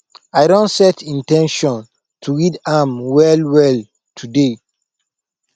i don set in ten tion to read am well well today